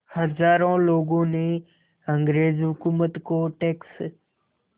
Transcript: हज़ारों लोगों ने अंग्रेज़ हुकूमत को टैक्स